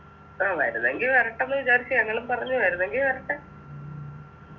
ആ വരുന്നെങ്കി വരട്ടെന്നു വിചാരിച്ച് ഞങ്ങളും പറഞ്ഞു വരുന്നെങ്കി വരട്ടെ